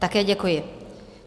Také děkuji.